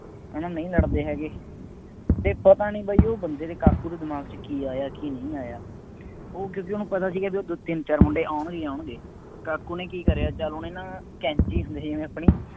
ਹੈ ਨਾ ਨਹੀਂ ਲੜਦੇ ਹੈਗੇ, ਅਤੇ ਪਤਾ ਨਹੀਂ ਬਾਈ ਉਹ ਬੰਦੇ ਨੇ ਕਾਕੂ ਦੇ ਦਿਮਾਗ ਚ ਕੀ ਆਇਆ ਕੀ ਨਹੀਂ ਆਇਆ, ਉਹ ਕਿਉਂਕਿ ਉੇਹਨੂੰ ਪਤਾ ਸੀਗਾ ਬਈ ਉਹ ਦੋ ਤਿੰਨ ਚਾਰ ਮੁੰਡੇ ਆਉਣਗੇ ਹੀ ਆਉਣਗੇ, ਕਾਕੂ ਨੇ ਕੀ ਕਰਿਆ ਚੱਲ ਉਹਨੇ ਨਾ ਕੈਂਚੀ ਹੰਦੀ ਜਿਵੇਂ ਆਪਣੀ